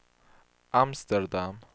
Amsterdam